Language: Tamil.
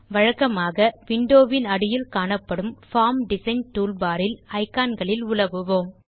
வழக்கமாக விண்டோ வின் அடியில் காணப்படும் பார்ம் டிசைன் டூல்பார் இல் iconகளில் உலவுவோம்